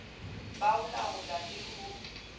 ba ho laola le ho